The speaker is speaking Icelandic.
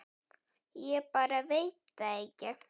Ég bara veit það ekki.